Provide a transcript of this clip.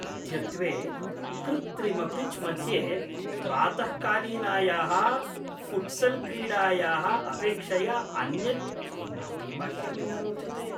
अद्यत्वे कृत्रिम पिच् मध्ये प्रातःकालीनायाः फ़ुट्सल् क्रीडायाः अपेक्षया अन्यत् किमपि मह्यं न रोचते।